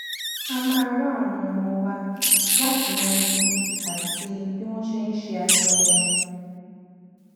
a máa rọ àwọn ọmọ wa láti mọ ibi àti bí wọn ṣe ń ṣe aṣọ wọn